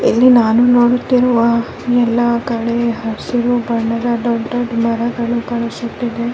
ಇಲ್ಲಿ ನಾನು ನೋಡುತ್ತಿರುವ ಎಲ್ಲ ಕಡೆ ಹಸಿರು ಬಣ್ಣದ ದೊಡ್ಡ್ ದೊಡ್ಡ್ ಮರಗಳು ಕಾಣಿಸುತ್ತಿವೆ .